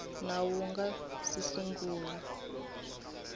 nawu wu nga si sungula